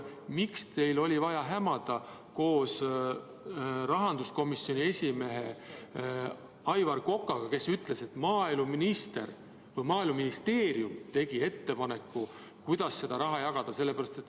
Miks teil oli vaja hämada koos rahanduskomisjoni esimehe Aivar Kokaga, kes ütles, et maaeluminister või Maaeluministeerium tegi ettepaneku, kuidas seda raha jagada?